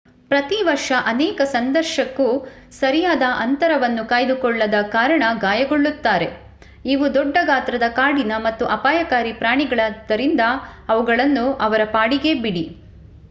ಪ್ರತಿ ವರ್ಷ ಅನೇಕ ಸಂದರ್ಶಕು ಸರಿಯಾದ ಅಂತರವನ್ನು ಕಾಯ್ದುಕೊಳ್ಳದ ಕಾರಣ ಗಾಯಗೊಳ್ಳುತ್ತಾರೆ ಇವು ದೊಡ್ಡ ಗಾತ್ರದ ಕಾಡಿನ ಮತ್ತು ಅಪಾಯಕಾರಿ ಪ್ರಾಣಿಗಳಾದ್ದರಿಂದ ಅವುಗಳನ್ನು ಅವರ ಪಾಡಿಗೆ ಬಿಡಿ